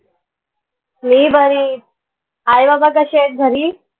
मी बरी आहे आई बाबा कशे आहेत घरी?